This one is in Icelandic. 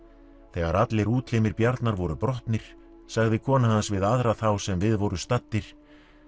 þegar allir útlimir Bjarnar voru brotnir sagði kona hans við aðra þá sem við voru staddir